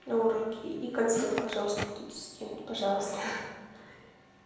на уроке и конспект пожалуйста кто-то скинет пожалуйста